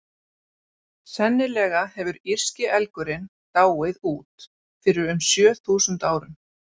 Sennilega hefur írski elgurinn dáið út fyrir um sjö þúsund árum.